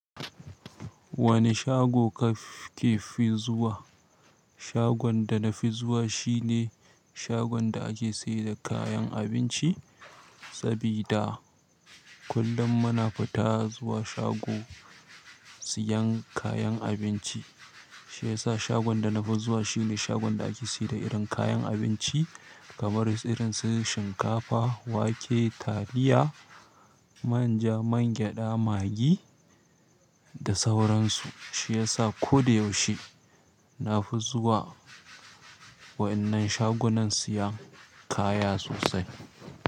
Wani shago kake fi zuwa? Shagon da na fi zuwa shine shagon da ake sayar da kayan abinci. Saboda kullum muna fita zuwa shago siyan kayan abinci shiyasa shagon da nafi zuwa shine shagon da ake saida irinsu kayan abinci kamar su irin su shinkafa, wake, taliya, manja, man gyaɗa, magi da sauran su. Shi yasa ko da yaushe na fi zuwa waɗannan shagunan siyan kaya sosai.